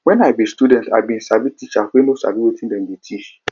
wen i be student i bin experience teachers wey no sabi wetin dem dey teach